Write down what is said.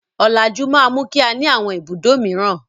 Ọ̀làjú máa mú kí á ní àwọn ibùdó mìíràn.